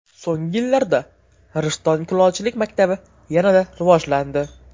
So‘nggi yillarda Rishton kulolchilik maktabi yanada rivojlandi.